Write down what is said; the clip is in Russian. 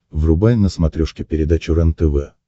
врубай на смотрешке передачу рентв